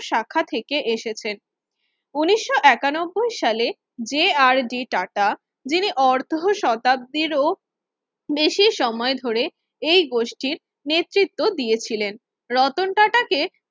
শাখা থেকে এসেছেন উনিশও একানব্বই সালে যে আর ডি টাটা যিনি অর্ধশ শতাব্দীর ও বেশি সময় ধরে এই গোষ্ঠীর নেতৃত্ব দিয়েছিলেন রতন টাটা কে